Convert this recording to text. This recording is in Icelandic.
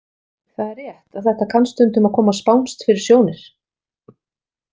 Það er rétt að þetta kann stundum að koma spánskt fyrir sjónir.